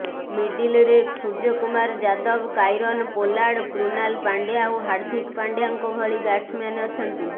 ମିଡିଲରେ Suryakumar Yadav Kieron Pollard Krunal Pandya ଓ ହାର୍ଦ୍ଦିକ ପାଣ୍ଡ୍ୟାଙ୍କ ଭଳି ବ୍ୟାଟ୍ସମ୍ୟାନ୍ ଅଛନ୍ତି